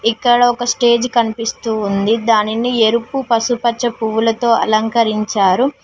ఇక్కడ ఒక స్టేజ్ కనిపిస్తూ ఉంది దానిని ఎరుపు పసుపచ్చ పువ్వులతో అలంకరించారు.